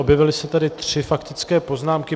Objevily se tady tři faktické poznámky.